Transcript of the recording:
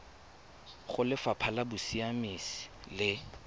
go lefapha la bosiamisi le